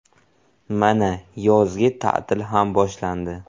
Mana, yozgi ta’til ham boshlandi.